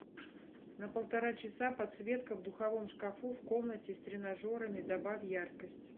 на полтора часа подсветка в духовом шкафу в комнате с тренажерами добавь яркость